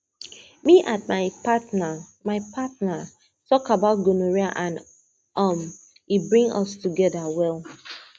me and my partner my partner talk about gonorrhea and um e bring us together well